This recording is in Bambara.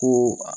Ko